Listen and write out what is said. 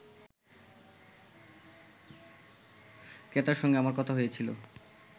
ক্রেতার সঙ্গে আমার কথা হয়েছিল